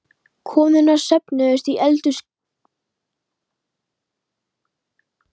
Konurnar söfnuðust í eldhúskrókinn og töluðu um dýrtíð og skömmtunarseðla.